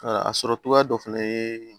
a sɔrɔ cogoya dɔ fɛnɛ ye